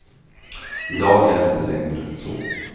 I dag är det inte längre så.